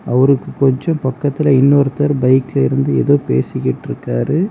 அவருக்கு கொஞ்ஜொ பக்கத்துல இன்னொருத்தர் பைக்லெருந்து ஏதோ பேசிகிட்டிருக்காரு.